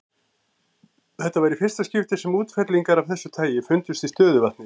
Þetta var í fyrsta skipti sem útfellingar af þessu tagi fundust í stöðuvatni.